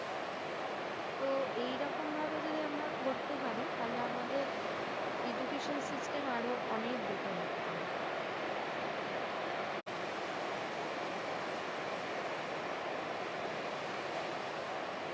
তো এইরকম ভাবে যদি আমরা করতে পারি। তাহলে আমাদের education system আরো অনেক better হতে পারে।